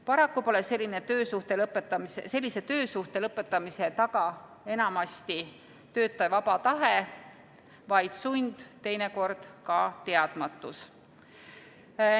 Paraku pole sellise töösuhte lõpetamise taga enamasti töötaja vaba tahe, vaid sund, teinekord ka teadmatus.